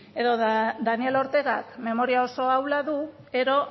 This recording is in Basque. edo daniel ortegak memoria oso ahula du edo